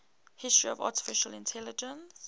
history of artificial intelligence